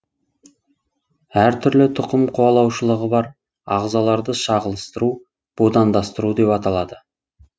әр түрлі тұқым қуалаушылығы бар ағзаларды шағылыстыру будандастыру деп аталады